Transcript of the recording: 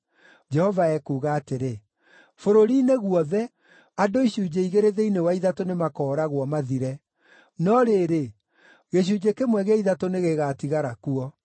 Jehova ekuuga atĩrĩ, “Bũrũri-inĩ guothe, andũ icunjĩ igĩrĩ thĩinĩ wa ithatũ nĩmakooragwo, mathire; no rĩrĩ, gĩcunjĩ kĩmwe gĩa ithatũ nĩgĩgatigara kuo.